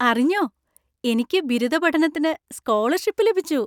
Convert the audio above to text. അറിഞ്ഞോ, എനിക്ക് ബിരുദ പഠനത്തിന് സ്കോളർഷിപ്പ് ലഭിച്ചു.